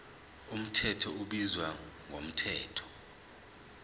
mthetho ubizwa ngomthetho